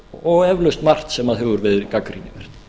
og eflaust margt sem hefur verið gagnrýnivert